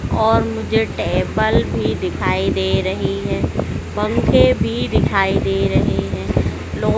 और मुझे टेबल भी दिखाई दे रही है पंखे भी दिखाई दे रहे हैं लो--